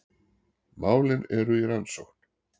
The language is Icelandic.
Málin eru í rannsókn